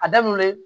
A daminɛ